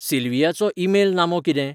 सिल्वीयाचो email नामो कितें?